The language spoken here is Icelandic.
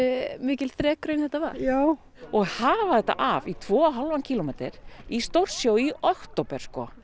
mikil þrekraun þetta var já og hafa þetta af í tvo og hálfan kílómeter í stórsjó í október